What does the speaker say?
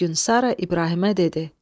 Bir gün Sara İbrahimə dedi: